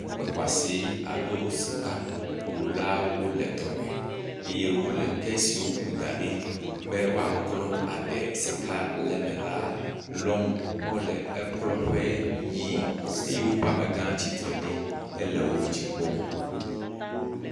Kpe xɔasi alo sikakulawo le dɔ me eye wole ke si woku da ɖi be woaklɔ aɖe sika le ma le lɔm le ekplɔƒe yii eye woƒe amega tsitre ɖi le wo kpɔm.